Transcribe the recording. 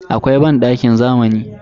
Akwai bandakin zamani.